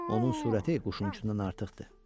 Onun sürəti quşun özündən artıqdır.